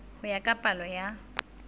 ho ya ka palo ya